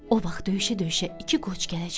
O vaxt döyüşə-döyüşə iki qoç gələcək.